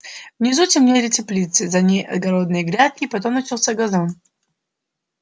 внизу темнели теплицы за ней огородные грядки потом начался газон